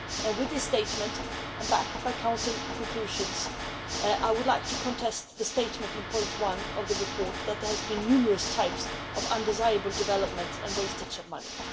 With this statement and backed by Council conclusions, I would like to contest the statement in paragraph 1 of the report that there have been numerous types of undesirable development and wastage of money.